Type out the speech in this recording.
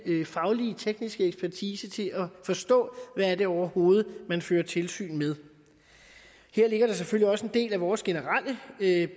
faglige tekniske ekspertise til at forstå hvad det overhovedet man fører tilsyn med her ligger der selvfølgelig også en del af vores generelle